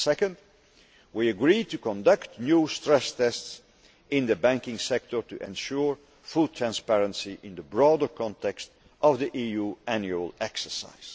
Secondly, we agree to conduct new stress tests in the banking sector to ensure full transparency in the broader context of the EU annual exercise.